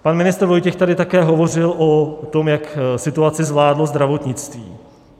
Pan ministr Vojtěch tady také hovořil o tom, jak situaci zvládlo zdravotnictví.